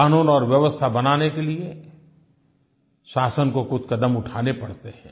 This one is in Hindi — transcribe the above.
क़ानून और व्यवस्था बनाने के लिये शासन को कुछ क़दम उठाने पड़ते हैं